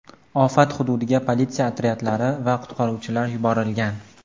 Ofat hududiga politsiya otryadlari va qutqaruvchilar yuborilgan.